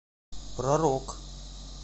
про рок